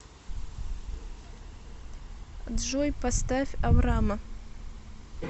джой поставь аврама